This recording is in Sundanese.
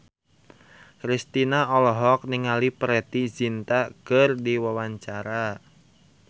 Kristina olohok ningali Preity Zinta keur diwawancara